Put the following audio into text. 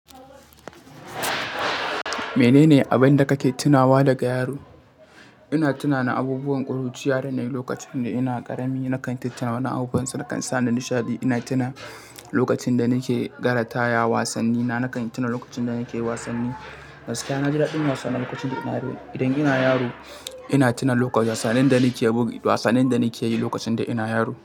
Menene abin da kake tunawa daga yaro? Ina tuna na abubuwan ƙuruciya da na yi lokacin da ina ƙarami. Na kan tuntuna wani abun da kan sa ni nishaɗi. Ina tuna lokacin da nake gara ta ya wasanni, na kan tuna lokacin da nake wasanni. Gaskiya, na ji daɗin wasa lokacin da ina yaro. Idan ina yaro, ina tuna wasannin da nake yi lokacin da ina yaro.